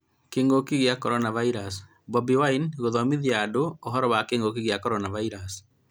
Kĩngũki kĩa coronavirus:Bobi Wine kũthomithia andũ ũhoro wa kĩngũki kĩa coronavirus